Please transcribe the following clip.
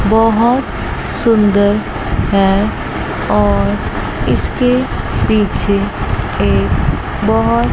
बहोत सुंदर हैं और इसके पीछे एक बहोत--